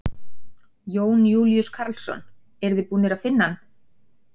Jón Júlíus Karlsson: Eruð þið búnir að finna hann?